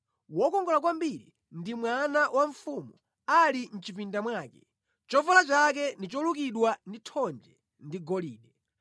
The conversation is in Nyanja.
Wokongola kwambiri ndi mwana wa mfumu ali mʼchipinda mwake, chovala chake ndi cholukidwa ndi thonje ndi golide.